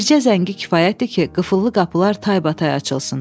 Bircə zəngi kifayətdir ki, qıfıllı qapılar taybatay açılsın.